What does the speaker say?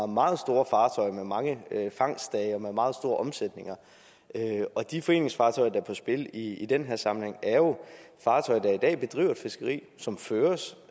meget store fartøjer med mange fangstdage og med meget store omsætninger de foreningsfartøjer der er på spil i den her sammenhæng er jo fartøjer der i dag bedriver fiskeri som føres